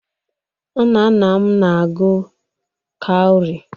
Nnanna m na-agụ kawri.